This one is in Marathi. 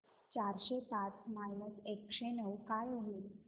चारशे पाच मायनस एकशे नऊ काय होईल